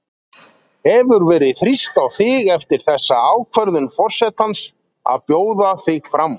Hefur verið þrýst á þig eftir þessa ákvörðun forsetans að bjóða þig fram?